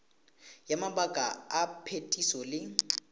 ya mabaka a phetiso le